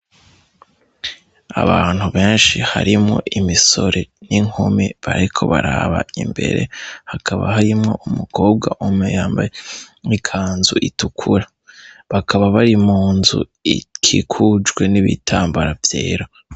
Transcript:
Abantu benshi harimwo imisore n'inkumi, bariko baraba imbere hakaba harimwo umukobwa umwe yambaye ikanzu itukura, bakaba bari mu nzu ikikujwe n'ibitambara vyera.